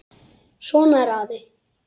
Svona er afi.